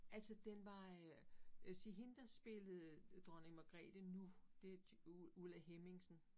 Altså den var øh øh sige hende der spillede Dronning Magrethe nu det Ulla Henningsen